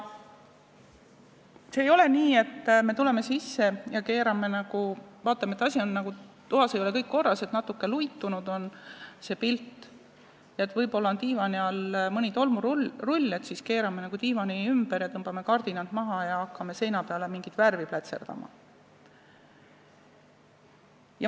Ei ole nii, et kui me tuleme sisse ja vaatame, et toas ei ole kõik korras, natukene luitunud on see pilt ja võib-olla diivani all on mõni tolmurull, siis keerame diivani ümber, tõmbame kardinad maha ja hakkame seina peale mingit värvi plätserdama.